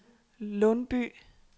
Lundby